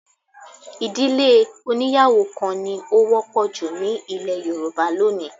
Ì̀dílé oníyàwó kan ni ó wọ́pọ̀ jù ní ilẹ̀ Yorùbá lónìí